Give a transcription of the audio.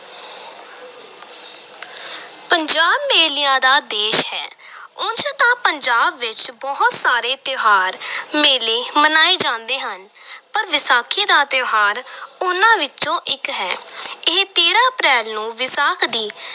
ਪੰਜਾਬ ਮੇਲਿਆਂ ਦਾ ਦੇਸ਼ ਹੈ ਉਂਝ ਤਾਂ ਪੰਜਾਬ ਵਿਚ ਬਹੁਤ ਸਾਰੇ ਤਿਉਹਾਰ ਮੇਲੇ ਮਨਾਏ ਜਾਂਦੇ ਹਨ ਪਰ ਵਿਸਾਖੀ ਦਾ ਤਿਉਹਾਰ ਉਨ੍ਹਾਂ ਵਿਚੋਂ ਇਕ ਹੈ ਇਹ ਤੇਰਾਂ ਅਪ੍ਰੈਲ ਨੂੰ ਵਿਸਾਖ ਦੀ